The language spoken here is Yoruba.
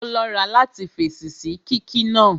Ó lọ́ra láti fèsì sí kíkí náà